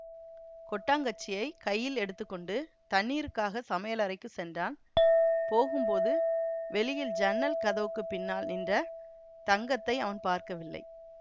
கொட்டாங்கச்சியைக் கையில் எடுத்து கொண்டு தண்ணீருக்காகச் சமையலறைக்குச் சென்றான் போகும்போது வெளியில் ஜன்னல் கதவுக்கு பின்னால் நின்ற தங்கத்தை அவன் பார்க்கவில்லை